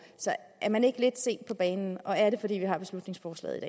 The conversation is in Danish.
så er man ikke lidt sent på banen og er det fordi vi har beslutningsforslaget